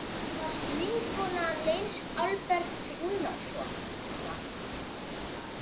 Þú varst vinkona Leifs Alberts Rúnarssonar.